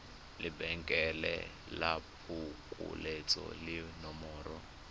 lebenkele la phokoletso le nomoro